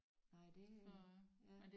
Nej det øh ja